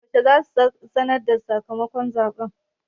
Yaushe za su sanarda sakamakon zaɓen?